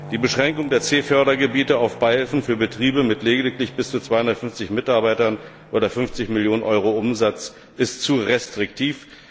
Die Beschränkung der C Fördergebiete auf Beihilfen für Betriebe mit lediglich bis zu 250 Mitarbeitern oder 50 Millionen EUR Umsatz ist zu restriktiv.